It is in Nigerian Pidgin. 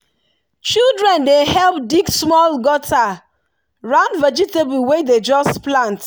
children dey help dig small gutter round vegetable wey dem just plant.